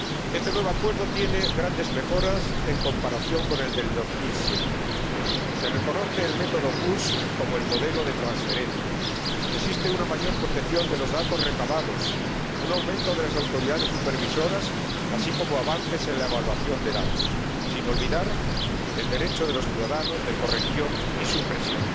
Este nuevo Acuerdo presenta grandes mejoras en comparación con el de 2007 se reconoce el método PUSH como el modelo de transferencia, existe una mayor protección de los datos recabados, un aumento de las autoridades supervisoras, así como avances en la evaluación de datos, sin olvidar el derecho de los ciudadanos de corrección y supresión,